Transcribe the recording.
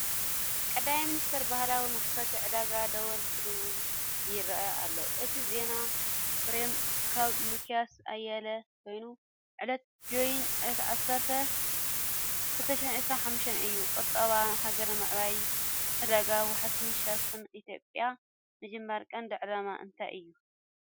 ቀዳማይ ሚኒስተር ባህላዊ መኽፈቲ ዕዳጋ ደወል ክድውል ይረአ ኣሎ። እቲ ዜና ፍሬም ካብ ሚክያስ ኣየለ ኮይኑ ዕለቱ Jan 10, 2025 እዩ። ቁጠባ ሃገር ንምዕባይ ዕዳጋ ዋሕስን ሸርፍን ኢትዮጵያ (ESX) ምጅማር ቀንዲ ዕላማ እንታይ እዩ?